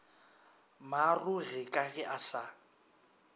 maarogi ka ge a sa